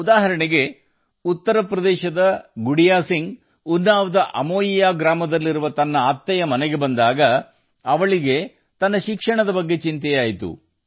ಉದಾಹರಣೆಗೆ ಉತ್ತರಪ್ರದೇಶದ ಶ್ರೀಮತಿ ಗುಡಿಯಾ ಸಿಂಗ್ ಅವರು ಉನ್ನಾವೊದ ಅಮೋಯ ಹಳ್ಳಿಯಲ್ಲಿರುವ ಅತ್ತೆಯ ಮನೆಗೆ ಬಂದಾಗ ಅವರು ತಮ್ಮ ಅಧ್ಯಯನದ ಬಗ್ಗೆ ಚಿಂತಿತರಾಗಿದ್ದರು